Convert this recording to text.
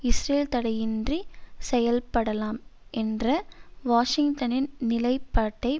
Israel தடையின்றி செயல்படலாம் என்ற வாஷிங்டனின் நிலைப்பாட்டை